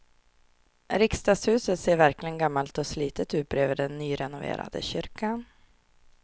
Riksdagshuset ser verkligen gammalt och slitet ut bredvid den nyrenoverade kyrkan.